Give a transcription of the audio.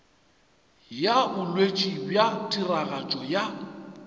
ya botšweletši bja tiragatšo ya